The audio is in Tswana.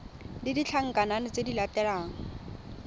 le ditlankana tse di latelang